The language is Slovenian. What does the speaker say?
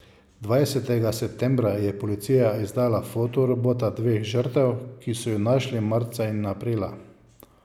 Dvajsetega septembra je policija izdala fotorobota dveh žrtev, ki so ju našli marca in aprila.